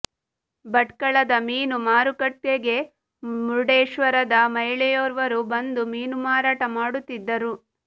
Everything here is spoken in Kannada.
ಭಟ್ಕಳದ ಮೀನು ಮಾರುಕಟ್ಟೆಗೆ ಮುರ್ಡೇಶ್ವರದ ಮಹಿಳೆಯೊರ್ವರು ಬಂದು ಮೀನು ಮಾರಾಟ ಮಾಡುತ್ತಿದ್ದರು